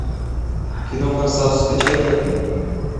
кино форсаж скачай ка